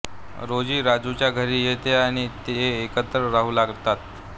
rosy राजूच्या घरी येते आणि ते एकत्र राहू लागतात